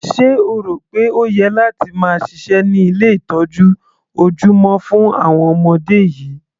Sé o rò pé o yẹ láti máa ṣiṣẹ́ ní ilé ìtọ́jú ojúmọ́ fún àwọn ọmọdé yìí?